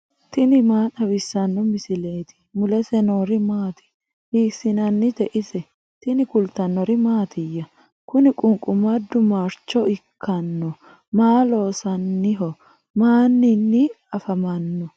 tini maa xawissanno misileeti ? mulese noori maati ? hiissinannite ise ? tini kultannori mattiya? kuni qunqumadu maricho ikkanno? Maa loosanniho? Maninni afammanno?